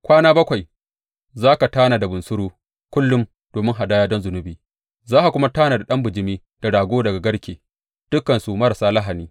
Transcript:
Kwana bakwai za ka tanada bunsuru kullum domin hadaya don zunubi; za ka kuma tanada ɗan bijimi da rago daga garke, dukansu marasa lahani.